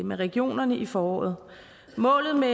med regionerne i foråret målet med